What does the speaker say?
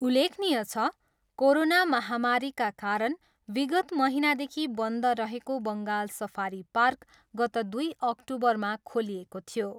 उल्लेखनीय छ, कोरोना महामारीका कारण विगत महिनादेखि बन्द रहेको बङ्गाल सफारी पार्क गत दुई अक्टुबरमा खोलिएको थियो।